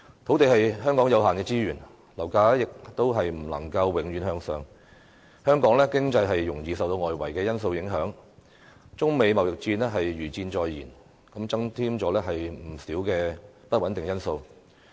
土地是香港有限的資源，樓價亦不能永遠向上升，香港經濟容易受到外圍因素影響，中美貿易戰如箭在弦，增添不少不穩定因素。